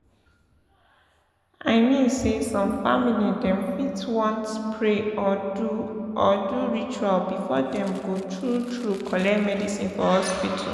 i mean say some family dem fit want pray or do or do ritual before dem go tru tru collect medicine for hospital.